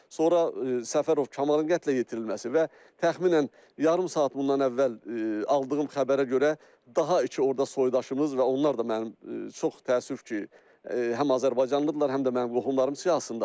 Sonra Səfərov, Kamalın qətlə yetirilməsi və təxminən yarım saat bundan əvvəl aldığım xəbərə görə daha iki orda soydaşımız və onlar da mənim, çox təəssüf ki, həm azərbaycanlıdırlar, həm də mənim qohumlarım siyahısındadır.